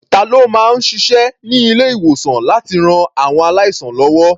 Ta ló máa ń ṣiṣẹ́ ní ilé-ìwòsàn láti ran àwọn aláìsàn lọ́wọ́?